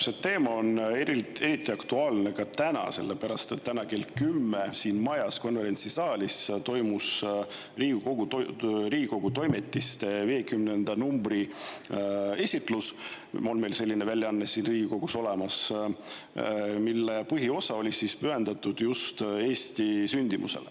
See teema on eriti aktuaalne täna, sellepärast et täna kell 10 toimus siin majas konverentsisaalis Riigikogu Toimetiste 50. numbri esitlus – selline väljaanne on meil siin Riigikogus olemas –, mille põhiosa oli pühendatud just sündimusele.